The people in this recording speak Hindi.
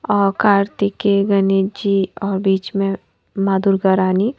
और कार्तिके गणेश जी और बीच में मां दुर्गा रानी--